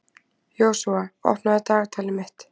Joshua, opnaðu dagatalið mitt.